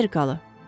Amerikalı.